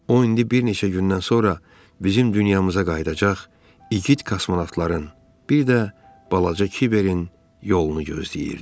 O indi bir neçə gündən sonra bizim dünyamıza qayıdacaq igid kosmonavtların, bir də balaca Kiberin yolunu gözləyirdi.